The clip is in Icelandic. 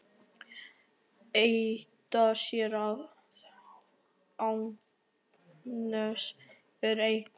Edda sér að Agnes er ein augu.